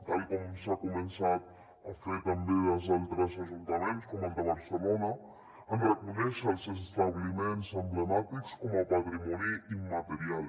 tal com s’ha començat a fer també des d’altres ajuntaments com el de barcelona en reconèixer els establiments emblemàtics com a patrimoni immaterial